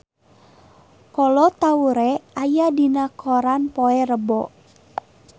Kolo Taure aya dina koran poe Rebo